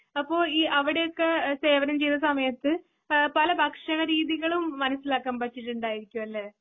അപ്പൊ ഈ അവിടെയൊക്കെ സേവനം ചെയ്ത സമയത്തു ആ പല ഭക്ഷണ രീതികളും മനസിലാക്കാൻ പറ്റിയിട്ടുണ്ടായിരിക്കും അല്ലെ?